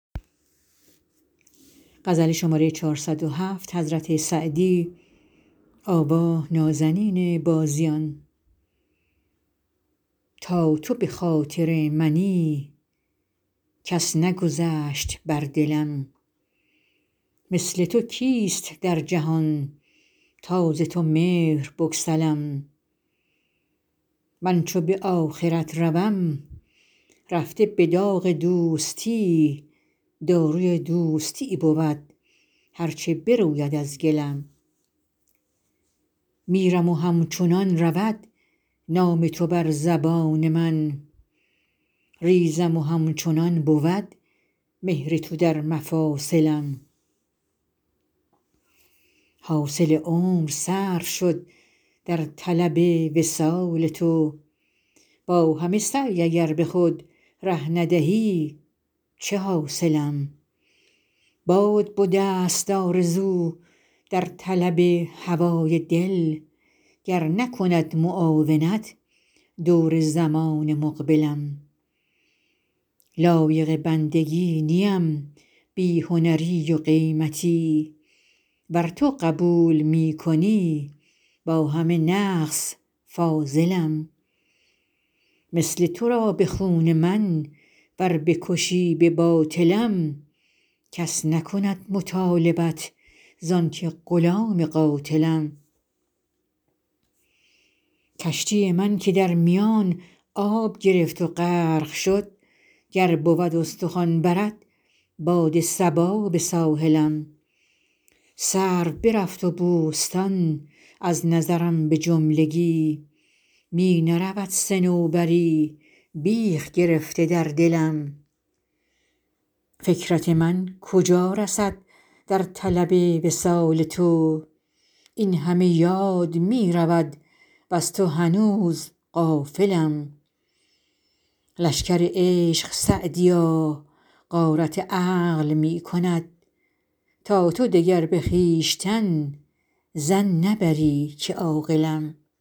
تا تو به خاطر منی کس نگذشت بر دلم مثل تو کیست در جهان تا ز تو مهر بگسلم من چو به آخرت روم رفته به داغ دوستی داروی دوستی بود هر چه بروید از گلم میرم و همچنان رود نام تو بر زبان من ریزم و همچنان بود مهر تو در مفاصلم حاصل عمر صرف شد در طلب وصال تو با همه سعی اگر به خود ره ندهی چه حاصلم باد بدست آرزو در طلب هوای دل گر نکند معاونت دور زمان مقبلم لایق بندگی نیم بی هنری و قیمتی ور تو قبول می کنی با همه نقص فاضلم مثل تو را به خون من ور بکشی به باطلم کس نکند مطالبت زان که غلام قاتلم کشتی من که در میان آب گرفت و غرق شد گر بود استخوان برد باد صبا به ساحلم سرو برفت و بوستان از نظرم به جملگی می نرود صنوبری بیخ گرفته در دلم فکرت من کجا رسد در طلب وصال تو این همه یاد می رود وز تو هنوز غافلم لشکر عشق سعدیا غارت عقل می کند تا تو دگر به خویشتن ظن نبری که عاقلم